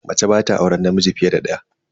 Mace ba ta auren namiji fiye da daya.